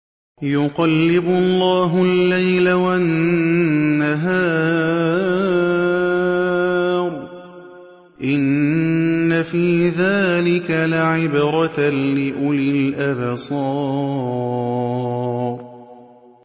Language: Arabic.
يُقَلِّبُ اللَّهُ اللَّيْلَ وَالنَّهَارَ ۚ إِنَّ فِي ذَٰلِكَ لَعِبْرَةً لِّأُولِي الْأَبْصَارِ